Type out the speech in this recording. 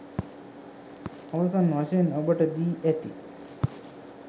අවසන් වශයෙන් ඔබට දී ඇති